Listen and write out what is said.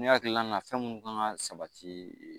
Ne hakilina na fɛn mun kan ka sabati